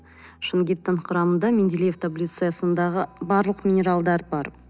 шунгиттың құрамында менделеев таблицасындағы барлық минералдар бар